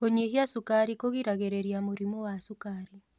Kũnyĩhĩa cũkarĩ kũgĩragĩrĩrĩa mũrĩmũ wa cũkarĩ